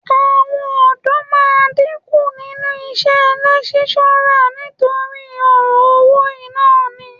Àwọn ọ̀dọ́ máa dínkù nínú iṣẹ́ lẹ́kíṣọ́rà nítorí ọ̀rọ̀ owó yìí náà ni